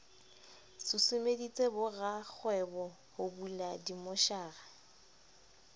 susumeditse borakgwebo ho bula dimmotjhara